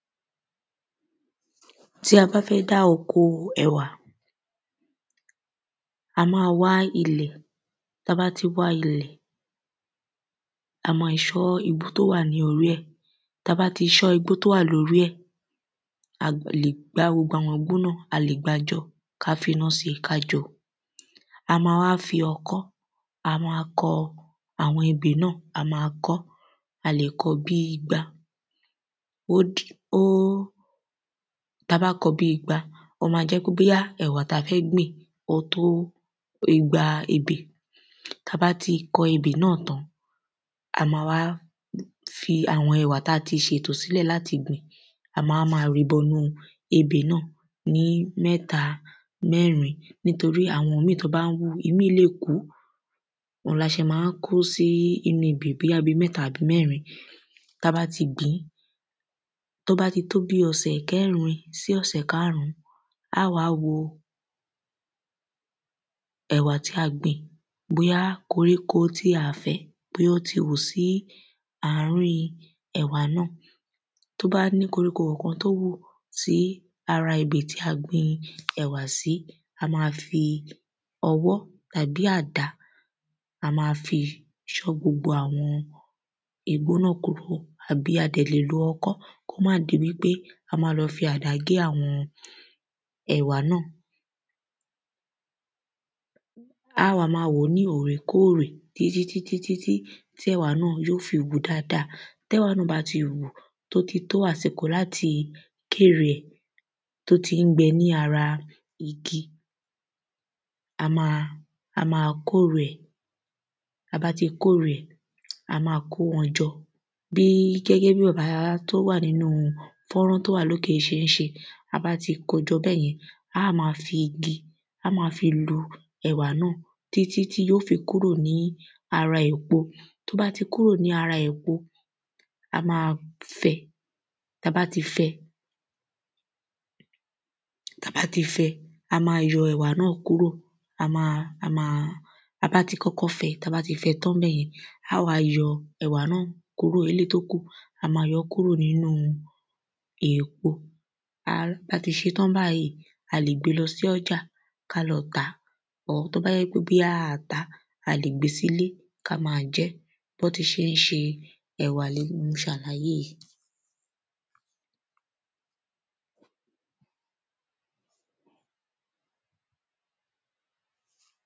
Tí a bá fẹ́ dá oko ẹ̀wà a má wá ilẹ̀ tá bá ti wá ilẹ̀ a má ṣán igbó tó wà ní orí ẹ̀ tá bá ti ṣán igbó tó wà ní orí ẹ̀ a lè gbá gbogbo àwọn igbó náà a lè gbá jọ ká finá sí ká jó a má wá fi ọkọ́ a má kọ àwọn ebè náà a má kọ́ a lè kọ bí igba ó dí ó tá bá kọ bí igba ó má jẹ́ wípé ẹ̀wà tí a fẹ́ gbìn ó tó igba ebè. Tá bá ti kọ ebè náà tán a má wá fi àwọn ẹ̀wà tí a ti ṣètò sílẹ̀ láti gbìn a má má wá rìí bọnú ebè náà ní mẹ́ta mẹ́rin nítorí àwọn ìmí tí wọ́n bá ń hù ìmí lè kú la ṣe má ń kó sí inú ebè bóyá bí mẹ́ta àbí mẹ́rin tá bá ti gbìn. Tó bá ti tó bí ọ̀sẹ̀ mẹ́rin sí márùn á wá wòó ẹ̀wà tí a gbìn bóyá koríko tí a fẹ́ bóyá ó ti hù sí àrin ẹ̀wà náà tó bá ní koríko kan tó hù sí ara ebè tí a gbin ẹ̀wà sí a má fi ọwọ́ tàbí àdá a má fi yọ gbogbo àwọn igbó náà kúrò a dẹ̀ lè lo ọkọ́ kó má di wípé a má lọ fi àdá gé àwọn ẹ̀wà náà. Á wá má wòó ní òrèkórè títí títí tí ẹ̀wà náà yó fi hù dáada tẹ́wà náà bá ti hù ó ti tó àsìkò láti kérè tó tí ń gbẹ ní ara igi a má a má kórè ẹ̀. Tá bá ti kórè ẹ̀ a má kó wọn jọ ní gẹ́gẹ́ bí bọ̀dá tó wà nínú fọ́tọ̀ yìí ṣé ń ṣe tá bá ti kó jọ bẹ́yẹn á má fi igi á má fi lu ẹ̀wà náà títí tí yó fi kúrò ní ara èpo tó bá ti kúrò ní ara èpo a má fẹ́ tá bá ti fẹ́ tá bá ti fẹ́ a má yọ ẹ̀wà náà kúrò a má a má tá bá ti kọ́kọ́ fẹ́ tá bá ti fẹ́ tán níbẹ̀yẹn á wá yọ ẹ̀wà náà kúrò kúrò eléèyí tó kù a má yọ́ kùrò nínú èpo a tá bá ti ṣé tán báyìí a lè gbé lọ sọ́jà ká lọ tàá or tó bá jẹ́ pé a tàá a lè gbé sílé ká má jẹ́ bọ́n tí ṣé ń ṣe ẹ̀wà ni mo ṣàlàyé yìí.